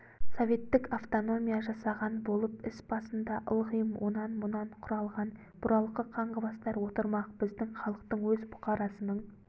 советтік автономия жасаған болып іс басында ылғи онан-мұнан құралған бұралқы қаңғыбастар отырмақ біздің халықтың өз бұқарасының